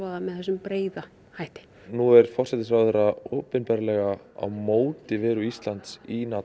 það með þessum breiða hætti nú er forsætisráðherra opinberlega á móti veru Íslands í